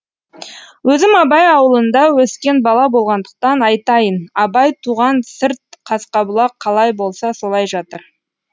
өзім абай ауылында өскен бала болғандықтан айтайын абай туған сырт қасқабұлақ қалай болса солай жатыр